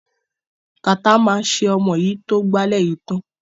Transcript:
Kàtá máa ṣe ọmọ yìí tó gbálẹ̀ yìí tán.